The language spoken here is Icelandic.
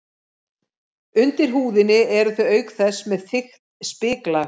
Undir húðinni eru þau auk þess með þykkt spiklag.